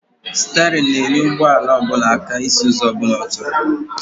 Sterịn na-enyere ụgbọala aka isi ụzọ ọbụla ọ chọrọ